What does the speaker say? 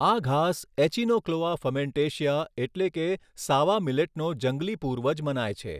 આ ઘાસ echinochloa frumentacea એટલે કે સાવા મીલેટનો જંગલી પૂર્વજ મનાય છે.